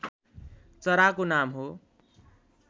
चराको नाम हो